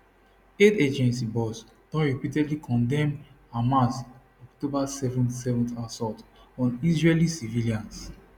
aid agency boss don repeatedly condemn hamas october 7th 7th assault on israeli civilians